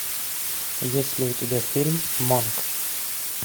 есть ли у тебя фильм монк